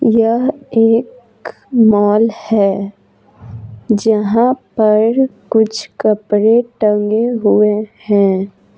यह एक मॉल है जहाँ पर कुछ कपड़े टंगे हुए है।